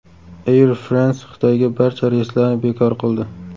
Air France Xitoyga barcha reyslarni bekor qildi.